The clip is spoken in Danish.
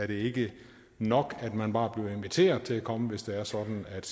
det ikke nok at man bare bliver inviteret til at komme hvis det er sådan at